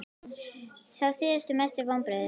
Sá síðasti Mestu vonbrigði?